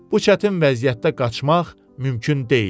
Bu çətin vəziyyətdə qaçmaq mümkün deyildi.